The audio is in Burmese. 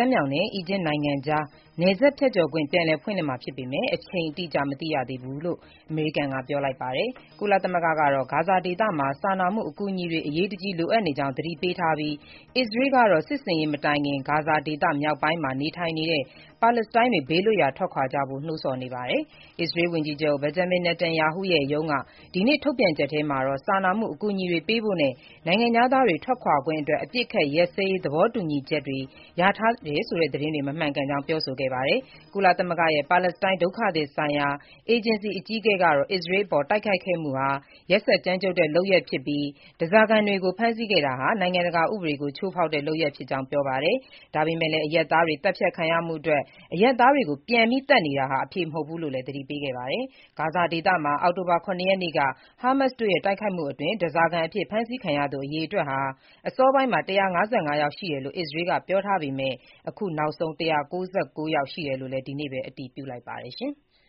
မ်းမြှောင်နဲ့ အီဂျစ်နိုင်ငံကြား နယ်စပ်ဖြတ်ခွင့် ပြန်လည်ဖွင့်လှစ်မှာ ဖြစ်ပေမယ့် အချိန်အတိအကျ မသိရသေးကြောင်း အမေရိကန်က ပြောလိုက်ပါတယ်။ ကုလသမဂ္ဂကတော့ ဂါဇာဒေသမှာ စာနာမှုအကူအညီတွေ အရေးတကြီး လိုအပ်နေကြောင်း သတိပေးထားပြီး၊ အစ္စရေးကတော့ စစ်ဆင်ရေး မတိုင်ခင် ဂါဇာဒေသ မြောက်ပိုင်းမှာ နေထိုင်နေတဲ့ ပါလက်စတိုင်းတွေ ဘေးလွတ်ရာ ထွက်ခွာကြဖို့ နှိုးဆော်နေပါတယ်။ အစ္စရေးဝန်ကြီးချုပ် Benjamin Netanyahu ရဲ့ ရုံးက ဒီနေ့ ထုတ်ပြန်ချက်ထဲမှာတော့ စာနာမှုအကူအညီတွေ ပေးဖို့နဲ့ နိုင်ငံခြားသားတွေ ထွက်ခွာခွင့်အတွက် အပစ်အခတ်ရပ်စဲရေး သဘောတူညီချက် ရထားတယ်ဆိုတဲ့ သတင်းတွေ မမှန်ကြောင်း ပြောဆိုခဲ့တာပါ။ ကုလသမဂ္ဂရဲ့ ပါလက်စတိုင်း ဒုက္ခသည်ဆိုင်ရာ အေဂျင်စီ အကြီးအကဲကတော့ အစ္စရေးအပေါ် တိုက်ခိုက်ခဲ့မှုဟာ ကြမ်းကြုတ်ရက်စက်တဲ့ လုပ်ရပ်ဖြစ်ပြီး၊ ဓားစာခံတွေကို ဖမ်းဆီးခဲ့တာဟာ နိုင်ငံတကာ ဥပဒေကို ချိုးဖောက်တဲ့လုပ်ရပ်ဖြစ်ကြောင်း ပြောပါတယ်။ ဒါပေမဲ့လည်း အရပ်သားတွေ သတ်ဖြတ်ခံရမှုအတွက် အရပ်သားတွေကို ပြန်သတ်နေတာဟာ အဖြေမဟုတ်ဘူးလို့လည်း သတိပေးခဲ့တာပါ။ ဂါဇာဒေသမှာ အောက်တိုဘာလ ၇ ရက်နေ့က ဟာမတ်စ်တို့ရဲ့ တိုက်ခိုက်မှုအတွင်း ဓားစာခံအဖြစ် ဖမ်းဆီးခံရသူ အရေအတွက်ဟာ အစောပိုင်းမှာ ၁၅၅ ယောက် ရှိတယ်လို့ အစ္စရေးက ပြောထားပေမယ့် အခုနောက်ဆုံး ၁၉၉ ယောက် ရှိတယ်လို့လည်း ဒီနေ့ပဲ အတည်ပြုလိုက်ပါတယ်။